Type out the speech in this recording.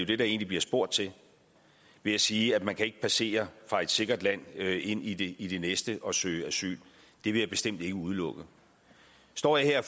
det der egentlig bliver spurgt til ved at sige at man ikke kan passere fra et sikkert land ind i det i det næste og søge asyl det vil jeg bestemt ikke udelukke står jeg her